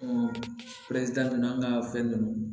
ninnu an ka fɛn ninnu